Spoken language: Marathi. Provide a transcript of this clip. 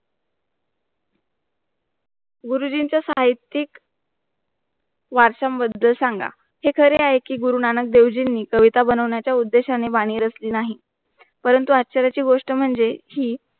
गुरुजींच्या साहितीक वारसा बद्दल सांगा हे खरे आहे कि गुरुनानक देवजींनी कविताबनवण्याच्या उद्देशाने वाणी रचली नाही परंतु आजच्या वेळ ची गोष्ट म्हणजे ही